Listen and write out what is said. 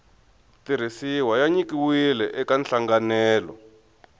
tirhisiwa ya nyikiwile eka nhlanganelo